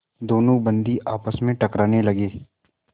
दोनों बंदी आपस में टकराने लगे